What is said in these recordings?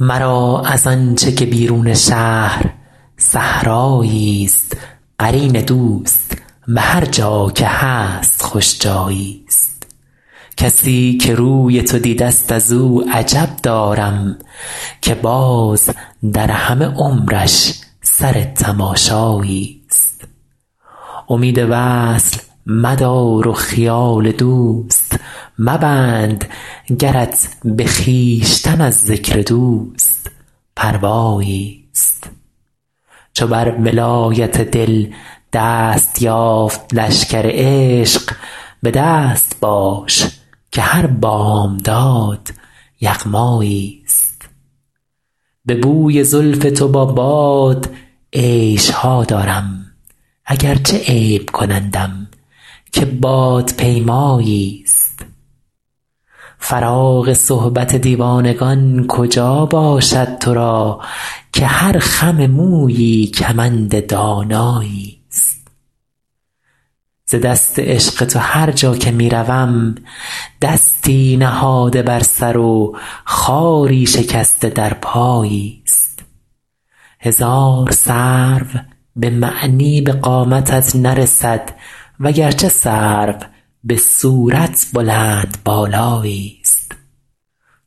مرا از آن چه که بیرون شهر صحرایی ست قرین دوست به هرجا که هست خوش جایی ست کسی که روی تو دیده ست از او عجب دارم که باز در همه عمرش سر تماشایی ست امید وصل مدار و خیال دوست مبند گرت به خویشتن از ذکر دوست پروایی ست چو بر ولایت دل دست یافت لشکر عشق به دست باش که هر بامداد یغمایی ست به بوی زلف تو با باد عیش ها دارم اگرچه عیب کنندم که بادپیمایی ست فراغ صحبت دیوانگان کجا باشد تو را که هر خم مویی کمند دانایی ست ز دست عشق تو هرجا که می روم دستی نهاده بر سر و خاری شکسته در پایی ست هزار سرو به معنی به قامتت نرسد وگرچه سرو به صورت بلندبالایی ست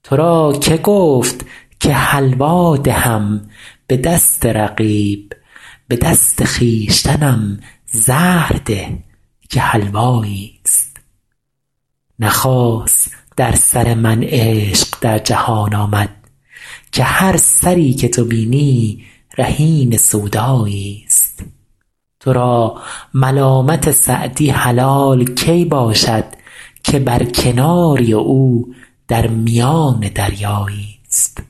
تو را که گفت که حلوا دهم به دست رقیب به دست خویشتنم زهر ده که حلوایی ست نه خاص در سر من عشق در جهان آمد که هر سری که تو بینی رهین سودایی ست تو را ملامت سعدی حلال کی باشد که بر کناری و او در میان دریایی ست